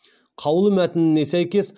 қаулы мәтініне сәйкес